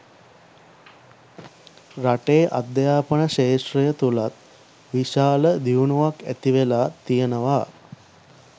රටේ අධ්‍යාපන ක්‍ෂේත්‍රය තුළත් විශාල දියුණුවක් ඇතිවෙලා තියෙනවා